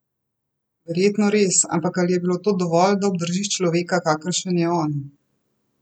Verjetno res, ampak ali je bilo to dovolj, da obdržiš človeka, kakršen je on?